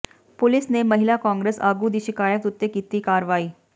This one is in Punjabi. ਪੁਲੀਸ ਨੇ ਮਹਿਲਾ ਕਾਂਗਰਸ ਆਗੂ ਦੀ ਸ਼ਿਕਾਇਤ ਉੱਤੇ ਕੀਤੀ ਕਾਰਵਾਈ